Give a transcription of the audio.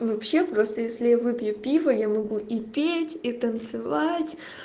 вообще просто если я выпью пива я могу и петь и танцевать